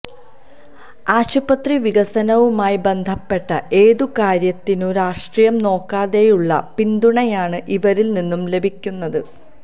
ആശുപത്രി വികസനവുമായി ബന്ധപ്പെട്ട ഏതു കാര്യത്തിനും രാഷ്ട്രീയം നോക്കാതെയുള്ള പിന്തുണയാണ് ഇവരില് നിന്നു ലഭിക്കുന്നത്